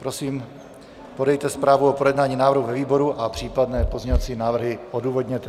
Prosím, podejte zprávu o projednání návrhu ve výboru a případné pozměňovací návrhy odůvodněte.